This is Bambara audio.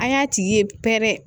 An y'a tigi ye pɛrɛ